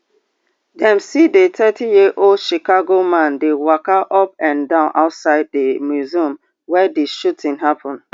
dem see di thirty year old chicago man dey waka up and down outside di museum wia di shooting happun